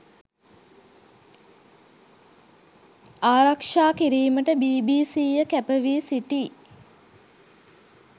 ආරක්ෂා කිරීමට බීබීසීය කැපවී සිටී.